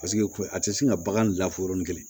Paseke a tɛ sin ka bagan bila fɔ yɔrɔnin kelen